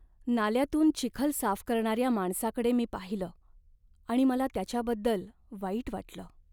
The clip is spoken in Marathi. नाल्यातून चिखल साफ करणाऱ्या माणसाकडे मी पाहिलं आणि मला त्याच्याबद्दल वाईट वाटलं.